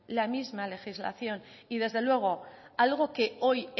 la misma legislación y desde luego algo que hoy